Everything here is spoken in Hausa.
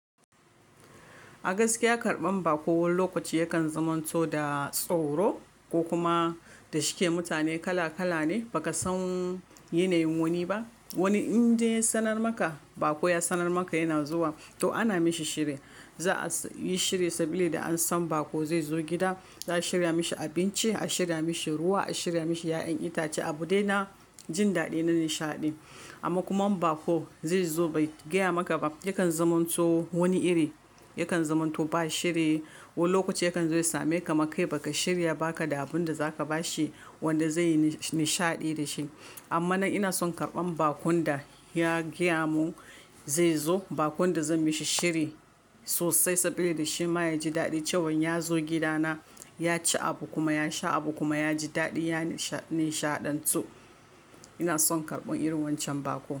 Agaskiya karban bako, wani lokaci yakan zumanto da tsoro ko kuma da shike mutane kala kala ne, ba ka san yanayin wani ba. Wani in dai ya sanar maka, baƙo ya sanar maka yana zuwa, to ana mishi shiri. Za'a yi shiri saboda an san baƙo zai zo gida, za'a shirya mishi abinci, a shirya mishi ruwa, a shirya mishi ƴaƴan itace, abu daina jin daɗi na nishaɗi. Amma kuma bako zai zo bai gaya maka ba, yakan zumanto wani iri, yakan zumanto ba shiri, wani lokaci yakan zo ya same ka makai ba ka shirya baka da abun da za ka bashi wanda zai yi nishaɗi da shi. Amma ina son karɓan baƙon da ya gaya mun zai zo, baƙon da zan mishi shiri sosai saboda shi ma ya ji daɗi cewan ya zo gida na, ya ci abu kuma ya sha abu kuma ya ji daɗi, ya nishaɗantu. Ina son karɓan irin wancan baƙo.